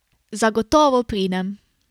Zagotovo pridem.